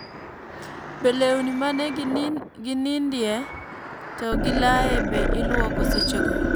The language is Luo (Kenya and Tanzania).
Be lewni mane ginindie to gilaye be ilwoko sechego